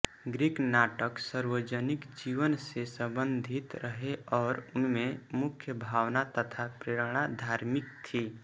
Greek नाटक सार्वजनीन जीवन से सम्बन्धित रहे और उनमें मुख्य भावना तथा प्रेरणा धार्मिक थी